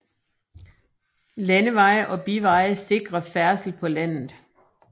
Landeveje og biveje sikrer færdsel på landet